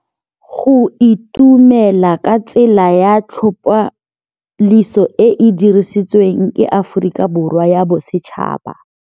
Go itumela ke tsela ya tlhapolisô e e dirisitsweng ke Aforika Borwa ya Bosetšhaba.